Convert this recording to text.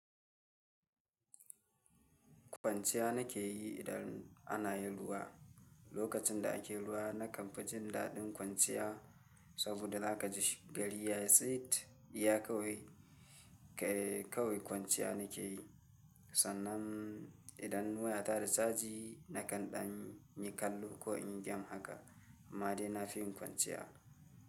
Kwanciya nake yi idan ana yin ruwa. Lokacin da ake ruwa, na kan fi jin daɗin kwanciya saboda zaka ji gari ya tsit. Iya kawai kwanciya nakeyi sannan idan ina. Son chaji nakan amma dai na fi yin kwanciya.